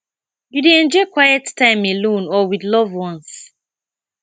you dey enjoy quiet time alone or with loved ones